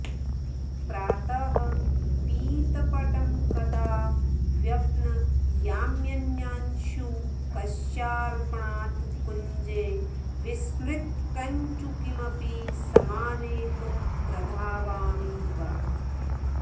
प्रातः पीतपटं कदा व्यपनयाम्यन्यांशुकस्यार्पणात् कुञ्जे विस्मृतकञ्चुकीमपि समानेतुं प्रधावामि वा